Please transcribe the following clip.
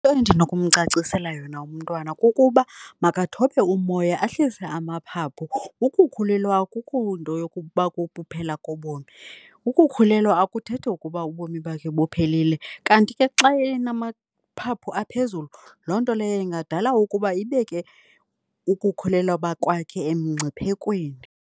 Endinokumcacisela yona umntwana kukuba makathobe umoya ahlise amaphaphu, ukukhulelwa akukunto yokuba kobomi. Ukukhulelwa akuthethi ukuba ubomi bakhe buphelile. Kanti ke xa enamaphaphu aphezulu loo nto leyo ingadala ukuba ibeke ukukhulelwa kwakhe emngciphekweni.